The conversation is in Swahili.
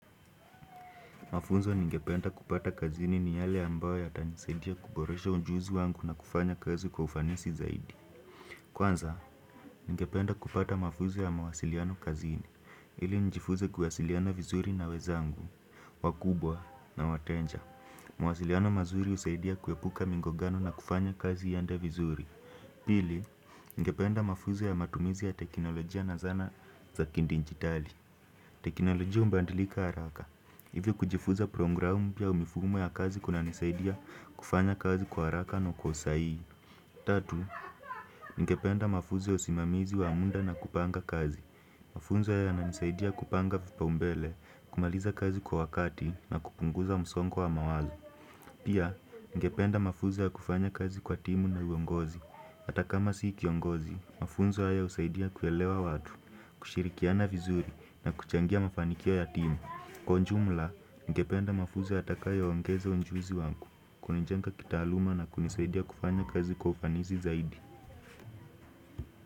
Mafunzo ningependa kupata kazini ni yale ambayo yatanisaidia kuboresha ujuzi wangu na kufanya kazi kwa ufanisi zaidi. Kwanza, ningependa kupata mafunzo ya mawasiliano kazini, ili njifuze kuwasiliana vizuri na wezangu, wakubwa na wateja. Mawasiliano mazuri husaidia kuepuka migongano na kufanya kazi iende vizuri. Pili, ninge penda mafunzo ya matumizi ya teknolojia na zana za kidijitali. Teknolojia hubadilika haraka, Hivyo kujifuza programu pia mifumo ya kazi kunanisaidia kufanya kazi kwa haraka na kwa usahihi Tatu, nigependa mafunzo ya usimamizi wa muda na kupanga kazi. Mafunzo yananisaidia kupanga vipau mbele, kumaliza kazi kwa wakati na kupunguza msongo wa mawazo Pia, ningependa mafunzo ya kufanya kazi kwa timu na uongozi. HAta kama si kiongozi, mafunzo haya husaidia kuelewa watu, kushirikiana vizuri na kuchangia mafanikio ya timu. Kwa ujumla, ningependa mafunzo yatakayoongezwa ujuzi wangu, kwa njia ya kitaaluma na kunisaidia kufanya kazi kwa ufanisi zaidi.